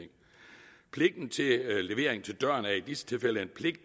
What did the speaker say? levering til døren er i disse tilfælde